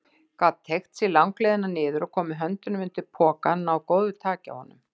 Gat teygt sig langleiðina niður og komið höndunum undir pokann, náð góðu taki á honum.